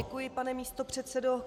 Děkuji, pane místopředsedo.